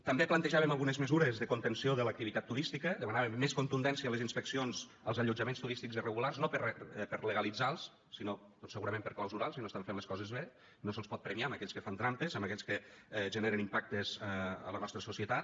també plantejàvem algunes mesures de contenció de l’activitat turística demanàvem més contundència a les inspeccions als allotjaments turístics irregulars no per legalitzar los sinó doncs segurament per clausurar los si no estan fent les coses bé no se’ls pot premiar a aquells que fan trampes a aquells que generen impactes en la nostra societat